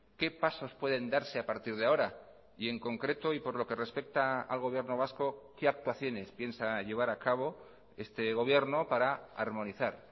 qué pasos pueden darse a partir de ahora y en concreto y por lo que respecta al gobierno vasco qué actuaciones piensa llevar a cabo este gobierno para armonizar